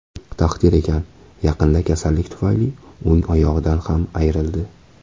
Taqdir ekan, yaqinda kasallik tufayli o‘ng oyog‘idan ham ayrildi.